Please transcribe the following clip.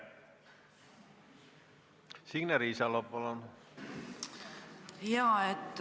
Signe Riisalo, palun!